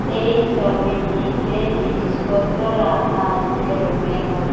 এই সবিটিতে জিনিসপত্র রাখা আসে রুমের মোধ--